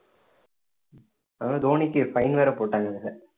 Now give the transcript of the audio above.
அதாவது தோனிக்கு fine வேற போட்டாங்க அதுல